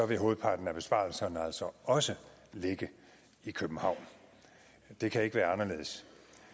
vil hovedparten af besparelserne altså også ligge i københavn det kan ikke være anderledes